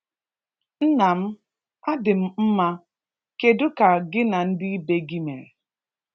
Nnam, a dị m mma. Kedu ka gị na ndị be gị mere?